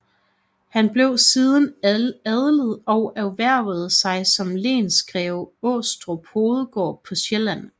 Han blev siden adlet og erhvervede sig som lensgreve Aastrup Hovedgård på Sjælland